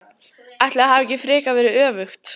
Ætli það hafi ekki frekar verið öfugt!